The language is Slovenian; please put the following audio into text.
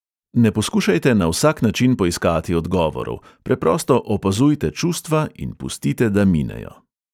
Ne poskušajte na vsak način poiskati odgovorov, preprosto opazujte čustva in pustite, da minejo.